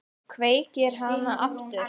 Kveikir hana aftur.